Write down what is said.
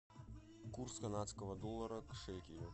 курс канадского доллара к шекелю